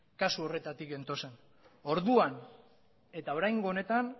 kasu horretatik gentozen orduan eta oraingo honetan